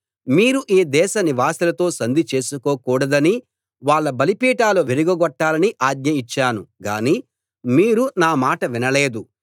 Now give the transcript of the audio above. మీరు ఈ దేశవాసులతో సంధి చేసుకోకూడదని వాళ్ళ బలిపీఠాలు విరుగగొట్టాలని ఆజ్ఞ ఇచ్చాను గాని మీరు నా మాట వినలేదు